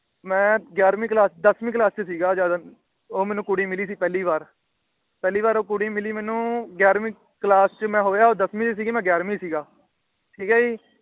ਮੈ ਗਿਆਰਵੀ Class ਚ ਦਸਵੀਂ Class ਚ ਸੀ ਗਾ। ਜਦ ਉਹ ਮੈਨੂੰ ਕੁੜੀ ਮਿਲੀ ਸੀ ਪਹਿਲੀ ਵਾਰ। ਪਹਿਲੋਂ ਵਾਰ ਉਹ ਕੁੜੀ ਮਿਲੀ ਮੈਨੂੰ ਗਿਆਰਵੀ Class ਚ ਮੈ ਹੋਇਆ ਦਸਵੀ ਚ ਸੀ ਗਾ। ਠੀਕ ਏ ਜੀ